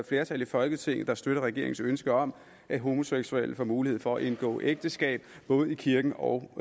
flertal i folketinget der støtter regeringens ønske om at homoseksuelle får mulighed for både at indgå ægteskab i kirken og at